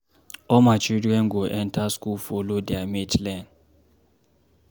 All my children go enter school follow their mate learn.